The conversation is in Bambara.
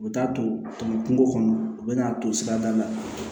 U bɛ t'a to tɔnɔ kungo kɔnɔ u bɛ n'a to sirada la